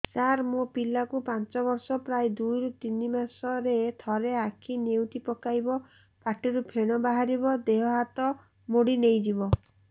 ସାର ମୋ ପିଲା କୁ ପାଞ୍ଚ ବର୍ଷ ପ୍ରାୟ ଦୁଇରୁ ତିନି ମାସ ରେ ଥରେ ଆଖି ନେଉଟି ପକାଇବ ପାଟିରୁ ଫେଣ ବାହାରିବ ଦେହ ହାତ ମୋଡି ନେଇଯିବ